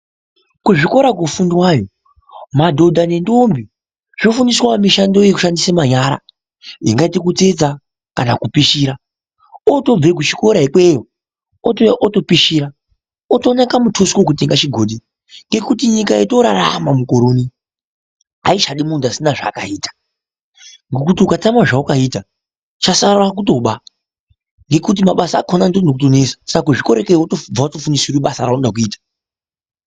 Kuzvikora kufundwayo madhodha nentombi zvino fundiswawo mushando wemanyara ingaite kutsetsa kana kupishira otobva kuchikoro ikweyo otouya utopishira otonakwa mutuso kekutenga muchigodhi nekutinyika yotorarama mukorouno aichadi muntu asina zvakaita ngekuti ukatama zvawakaita uchatosara kutoba ngekuti mabasa akona otonetsa saka kuzvikora kubva wato fundiswa basa raunodakuita